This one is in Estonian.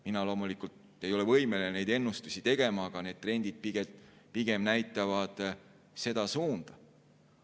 Mina loomulikult ei ole võimeline neid ennustusi tegema, aga trendid näitavad pigem seda suunda.